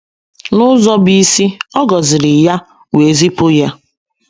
N’ụzọ bụ́ isi, ọ gọziri ya wee zipụ ya.